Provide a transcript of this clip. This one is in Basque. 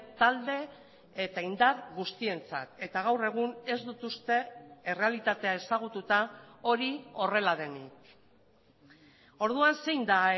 talde eta indar guztientzat eta gaur egun ez dut uste errealitatea ezagututa hori horrela denik orduan zein da a